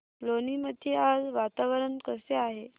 लोणी मध्ये आज वातावरण कसे आहे